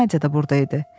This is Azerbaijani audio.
Nadya da burda idi.